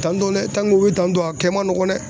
Tantɔ nɛ tanke o be tantɔ a kɛ man nɔgɔ nɛ